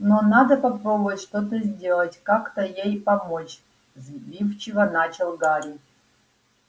но надо попробовать что-то сделать как-то ей помочь сбивчиво начал гарри